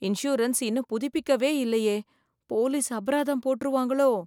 Insurance இன்னும் புதுப்பிக்கவே இல்லையே, போலீஸ் அபராதம் போட்டுருவாங்களோ.